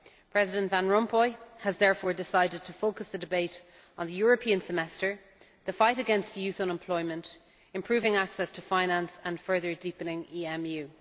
President Van Rompuy has therefore decided to focus the debate on the European Semester, the fight against youth unemployment, improving access to finance and further deepening EMU.